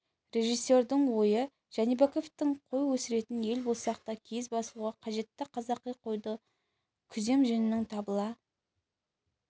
режиссердің ойы жәнібековтің қой өсіретін ел болсақ та киіз басуға қажетті қазақи қойдың күзем жүнінің табыла